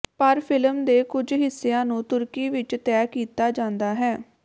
ਪਰ ਫਿਲਮ ਦੇ ਕੁਝ ਹਿੱਸਿਆਂ ਨੂੰ ਤੁਰਕੀ ਵਿਚ ਤੈਅ ਕੀਤਾ ਜਾਂਦਾ ਹੈ